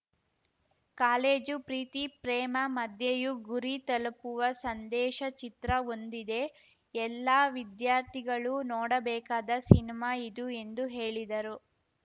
college ಪ್ರೀತಿ ಪ್ರೇಮ ಮಧ್ಯೆಯೂ ಗುರಿ ತಲುಪುವ ಸಂದೇಶ ಚಿತ್ರ ಹೊಂದಿದೆ ಎಲ್ಲಾ ವಿದ್ಯಾರ್ಥಿಗಳೂ ನೋಡಬೇಕಾದ ಸಿನಿಮಾ ಇದು ಎಂದು ಹೇಳಿದರು